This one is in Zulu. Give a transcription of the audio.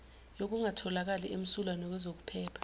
yokungatholakali emsulwa ngokwezokuphepha